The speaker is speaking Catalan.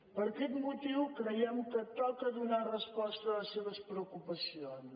per aquest motiu creiem que toca donar resposta a les seves preocupacions